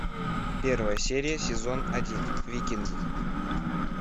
первая серия сезон один викинги